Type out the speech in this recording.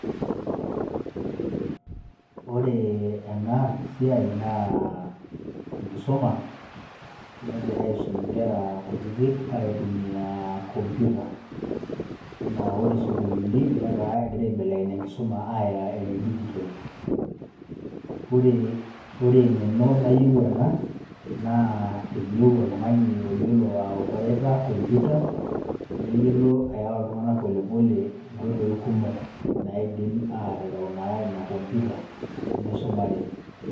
Ore enasiai naa, enkisuma, negirai aisum inkera kutitik aitumia computer. Enaa ore sukuulini, netaa kegira aibelekeny enkisuma aya ene digital. Ore eng'eno nayieu ena, naa eyieu oltung'ani oyiolo aopareta computer, neyiolo ayawa iltung'anak polepole nkoitoi kumok naidim atereu naa ina computer ,nisumare.